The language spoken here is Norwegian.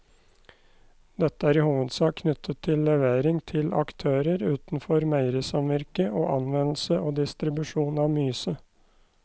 Dette er i hovedsak knyttet til levering til aktører utenfor meierisamvirket og anvendelse og distribusjon av myse.